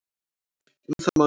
Um það má lesa